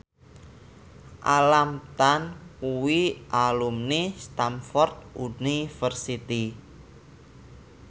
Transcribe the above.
Alam Tam kuwi alumni Stamford University